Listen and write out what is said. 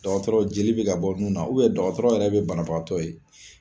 Dɔgɔtɔrɔ jeli be ka bɔ nun na, dɔgɔtɔrɔ yɛrɛ be banabagatɔ ye